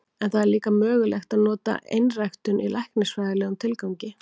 En það er líka mögulegt að nota einræktun í læknisfræðilegum tilgangi.